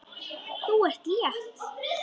Þú ert létt!